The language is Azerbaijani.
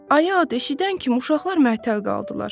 Ayı adın eşidən kimi uşaqlar məəttəl qaldılar.